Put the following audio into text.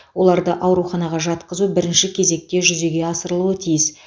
оларды ауруханаға жатқызу бірінші кезекте жүзеге асырылуы тиіс